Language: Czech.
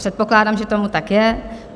Předpokládám, že tomu tak je.